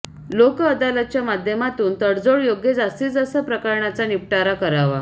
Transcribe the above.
लोकअदालतच्या माध्यमातून तडजोड योग्य जास्तीत जास्त प्रकरणांचा निपटारा करावा